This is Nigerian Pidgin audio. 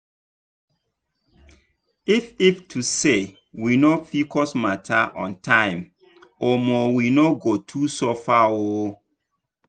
if if to say we know pcos matter on time omo we no go too suffer oo.